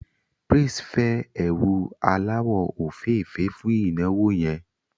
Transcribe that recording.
Praise fẹ́ ẹ̀wù aláwọ̀ òféèfé fún ìnáwó yẹn